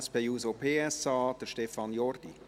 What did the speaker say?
Für die SP-JUSO-PSA-Fraktion, Stefan Jordi.